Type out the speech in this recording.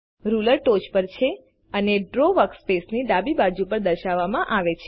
ruler ટોચ પર છે અને ડ્રો વર્કસ્પેસની ડાબી બાજુ પર દર્શાવવામાં આવે છે